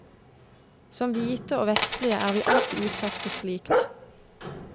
Som hvite og vestlige er vi alltid utsatt for slikt.